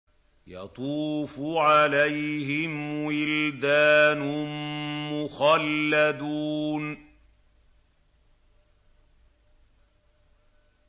يَطُوفُ عَلَيْهِمْ وِلْدَانٌ مُّخَلَّدُونَ